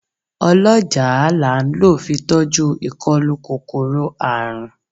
Ọlọ́jàá la ń lọ fi tọ́jú ìkólú kòkòrò àrùn.